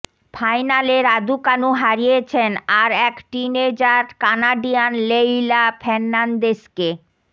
ফাইনালে রাদুকানু হারিয়েছেন আর এক টিনএজার কানাডিয়ান লেইলা ফের্নান্দেসকে